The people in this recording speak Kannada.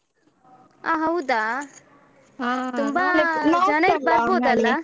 ಹ ಹೌದಾ? ಹಾ ತುಂಬ.